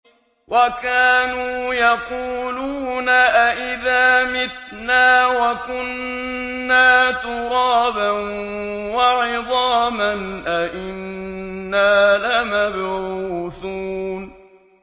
وَكَانُوا يَقُولُونَ أَئِذَا مِتْنَا وَكُنَّا تُرَابًا وَعِظَامًا أَإِنَّا لَمَبْعُوثُونَ